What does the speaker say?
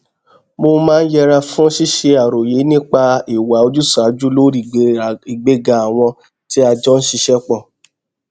mo máa ń yẹra fún ṣíṣe àròyé nípa ìwà ojúṣàájú lórí ìgbéga àwọn tí a jọ n ṣiṣẹ pọ